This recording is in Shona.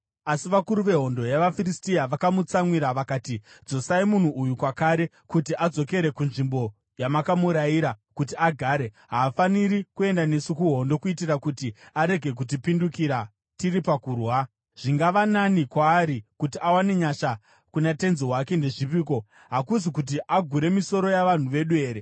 Asi vakuru vehondo yavaFiristia vakamutsamwira vakati, “Dzosai munhu uyu kwakare, kuti adzokere kunzvimbo yamakamurayira kuti agare. Haafaniri kuenda nesu kuhondo kuitira kuti arege kutipindukira tiri pakurwa. Zvingava nani kwaari kuti awane nyasha kuna tenzi wake ndezvipiko, hakusi kuti agure misoro yavanhu vedu here?